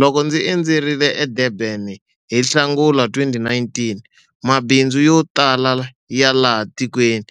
Loko ndzi endzerile eDurban hi Nhlangula 2019, mabindzu yo tala ya laha tikweni